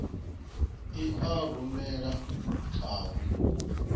i a rumela kha vho